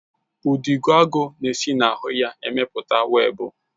Udidoagu na-esi na ahụ ha emepụta webụ